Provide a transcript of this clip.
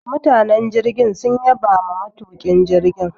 Mutanen jirgin sun yabama matuƙin jirgin.